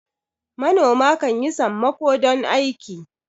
manoma kan yi sammako don aiki